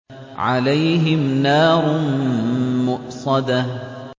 عَلَيْهِمْ نَارٌ مُّؤْصَدَةٌ